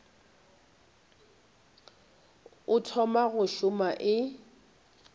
o thoma go šoma e